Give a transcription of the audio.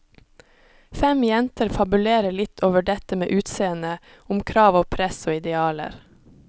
Fem jenter fabulerer litt over dette med utseende, om krav og press og idealer.